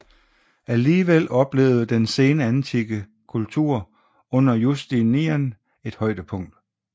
Alligevel oplevede den senantikke kultur under Justinian et højdepunkt